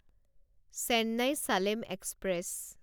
Chennai Salem express